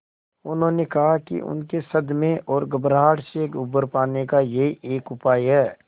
उन्होंने कहा कि उनके सदमे और घबराहट से उबर पाने का यही एक उपाय है